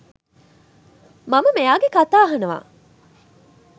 මම මෙයාගෙ කතා අහනවා.